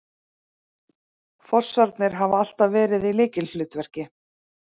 Fossarnir hafa alltaf verið í lykilhlutverki